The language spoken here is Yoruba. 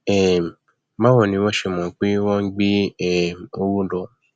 um báwo ni wọn ṣe mọ pé wọn ń gbé um owó lọ